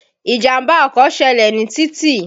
Ìjàmbá ọkọ̀ ṣẹlẹ̀ ní títì.